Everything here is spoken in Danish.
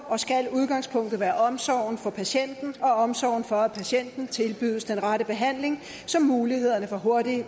og skal udgangspunktet være omsorgen for patienten og omsorgen for at patienten tilbydes den rette behandling så mulighederne for hurtig